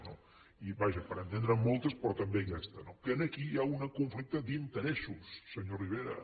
vaja per entendre’n moltes però també aquesta que aquí hi ha un conflicte d’interessos senyor rivera